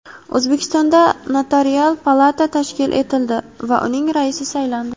O‘zbekistonda Notarial palata tashkil etildi va uning raisi saylandi.